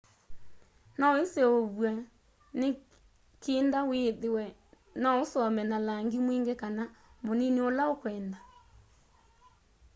no iseuvwe ni kinda withie no usome na langi mwingi kana munini undu ukwenda